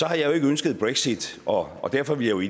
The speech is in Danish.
jeg jo ikke ønsket brexit og derfor ville